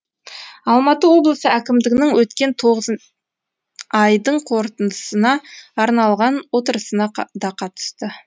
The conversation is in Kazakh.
алматы облысы әкімдігінің өткен тоғыз айдың қорытындысына арналған отырысына да қатысты